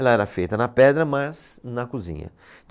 Ela era feita na pedra, mas na cozinha.